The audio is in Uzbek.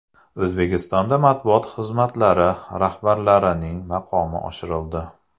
O‘zbekistonda matbuot xizmatlari rahbarlarining maqomi oshirildi.